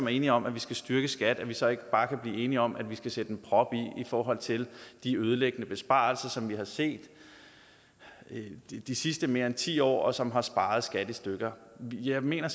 er enige om at vi skal styrke skat at vi så ikke bare kan blive enige om at vi skal sætte en prop i i forhold til de ødelæggende besparelser som vi har set de sidste mere end ti år og som har sparet skat i stykker jeg mener